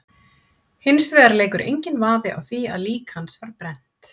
Hins vegar leikur enginn vafi á því að lík hans var brennt.